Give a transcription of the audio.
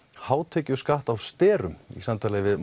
hátekjuskatt á sterum í samtali við